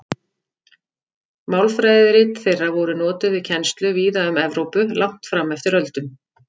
Málfræðirit þeirra voru notuð við kennslu víða um Evrópu langt fram eftir öldum.